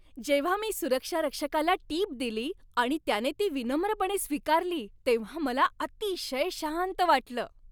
जेव्हा मी सुरक्षारक्षकाला टीप दिली आणि त्याने ती विनम्रपणे स्वीकारली तेव्हा मला अतिशय शांत वाटलं.